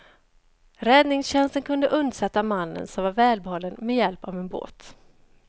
Räddningstjänsten kunde undsätta mannen, som var välbehållen, med hjälp av en båt.